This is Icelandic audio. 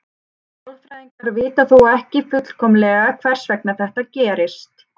Sálfræðingar vita þó ekki fullkomlega hvers vegna þetta gerist.